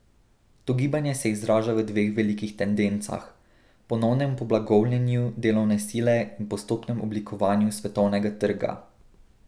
To gibanje se izraža v dveh velikih tendencah: 'ponovnem poblagovljenju' delovne sile in postopnem oblikovanju svetovnega trga.